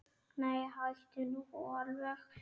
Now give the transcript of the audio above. Nei, hættu nú alveg!